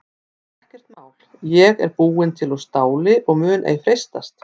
En ekkert mál ég er búin til úr STÁLI og mun ei freistast.